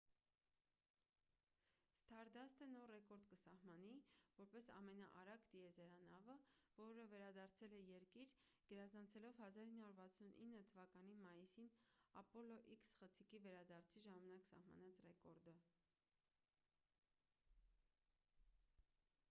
սթարդասթը նոր ռեկորդ կսահմանի որպես ամենաարագ տիեզերանավը որը վերադարձել է երկիր գերազանցելով 1969 թ մայիսին ապոլո x խցիկի վերադարձի ժամանակ սահմանած ռեկորդը